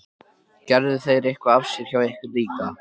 Gerðu þeir eitthvað af sér hjá ykkur líka?